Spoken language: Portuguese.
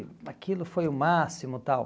E aquilo foi o máximo e tal.